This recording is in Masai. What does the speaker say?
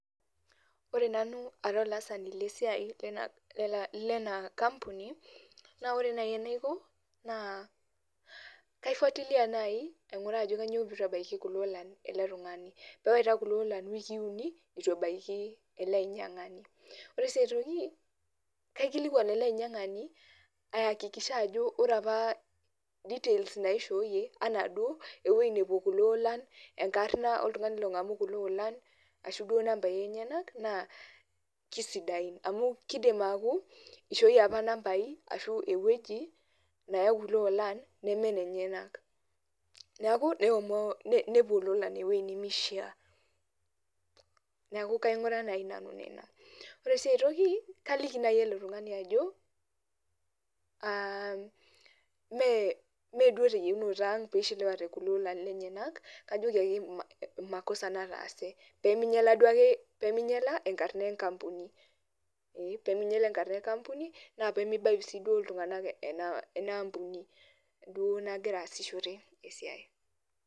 Ore nanu ara olaasani lesiai lena kampuni, na ore nai enaiko, naa kai fuatilia nai aing'uraa ajo kanyioo pitu ebaiki ilolan ele tung'ani. Pewaita kulo olan iwikii uni, itu ebaiki ele ainyang'ani. Ore si aitoki, kaikilikwan ele ainyang'ani aakikisha ajo ore apa details naishooyie, anaduo ewoi nepuo kulo olan, enkarna oltung'ani long'amu kulo olan, ashu duo nambai enyanak, naa kisidain. Amu kidim aku, ishooyie apa nambai ashu ewueji neyai kulo olan, nemenenyenak. Neeku, nepuo lolan ewueji nimishaa. Neeku kaing'uraa nai nanu ina. Ore si aitoki, kaliki nai ele tung'ani ajo, ah meduo teyieunoto ang' pishiliwate kulo olan lenyanak, kajoki ake makosa nataase. Peminyala duo ake, peminyala enkarna enkampuni. Ee piminyala enkarna enkampuni, na pemibayu si duo iltung'anak enaampuni duo nagira aasishore esiai.